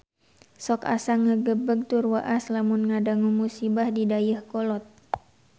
Sok asa ngagebeg tur waas lamun ngadangu musibah di Dayeuhkolot